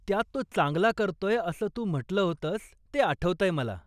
त्यात तो चांगला करतोय असं तू म्हटलं होतंस ते आठवतंय मला.